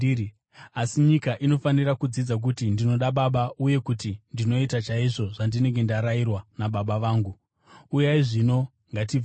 asi nyika inofanira kudzidza kuti ndinoda Baba uye kuti ndinoita chaizvo zvandinenge ndarayirwa naBaba vangu. “Uyai zvino; ngatibvei pano.